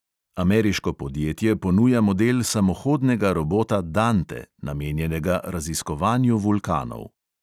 Ameriško podjetje ponuja model samohodnega robota dante, namenjenega raziskovanju vulkanov.